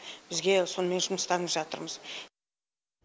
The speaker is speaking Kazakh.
бізге сонымен жұмыстанып жатырмыз